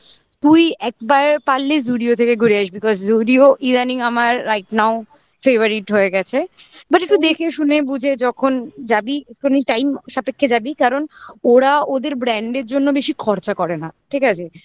তুই একবার পারলে Zudio থেকে ঘুরে আসবি because Zudio ইদানিং আমার right now favourite হয়ে গেছে but একটু দেখে শুনে বুঝে যখন যাবি একটুখানি time সাপেক্ষে যাবি কারণ ওরা ওদের brand এর জন্য বেশি খরচা করে না ঠিক আছে